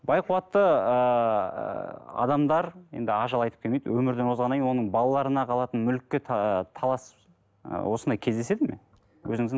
бай қуатты ыыы адамдар енді ажал айтып келмейді өмірден озғаннан кейін оның балаларына қалатын мүлікке талас ы осындай кездеседі ме өзіңіздің